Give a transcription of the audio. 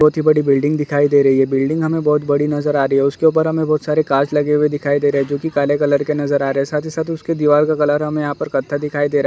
बहोत ही बड़ी बिल्डिंग दिखाई दे रही है। बिल्डिंग हमें बहोत बड़ी नजर आ रही है और उसके उपर हमें बहोत सारे कांच लगे हुए दिखाई दे रहे है जो कि काले कलर के नजर आ रहे है। साथ ही साथ उसकी दीवाल का कलर हमें यहाँ पर कत्था दिखाई दे रहा है।